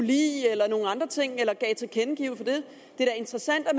lide eller give nogle andre ting til kende det er da interessant at